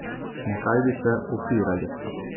Na kaj bi se opirali?